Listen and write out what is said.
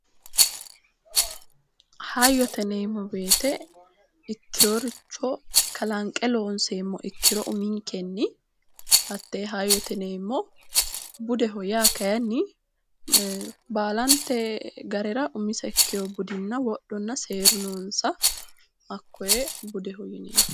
Hayyote yineemmo woyte ikkeyoricho kalanqe loonseemmo ikkiro uminkenni hattee hayyote yineemmo budeho yaa kayinni baalante garera umiseha ikkeyo budi wodhonna seeru noonsa hakkoye budeho yineemmo